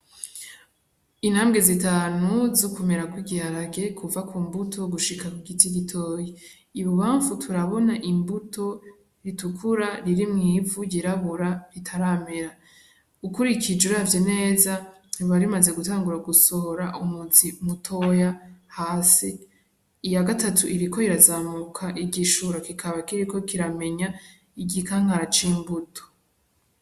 Intambwe zitanu zo kumera kw'igiharage kuva ku mbuto gushika ku giti gitoyi, ibubamfu turabona imbuto ritukura riri mw'ivu ryirabura ritaramera, ukurikije uravye neza ryoba rimaze gutangura gusohora umuzi mutoya hasi, iyagatatu iriko irazamuka igishuro kikaba kiriko kiramenya igikankara c'imbuto.